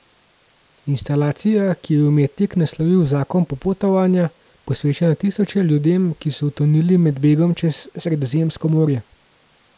Instalacija, ki jo je umetnik naslovil Zakon popotovanja, posveča na tisoče ljudem, ki so utonili med begom čez Sredozemsko morje.